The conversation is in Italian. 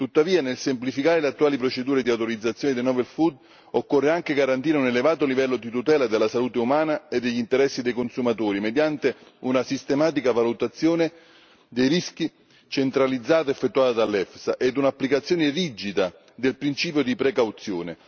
Tuttavia nel semplificare le attuali procedure di autorizzazione dei novel food occorre anche garantire un elevato livello di tutela della salute umana e degli interessi dei consumatori mediante una sistematica valutazione dei rischi centralizzata ed effettuata dall'EFTA ed un'applicazione rigida del principio di precauzione.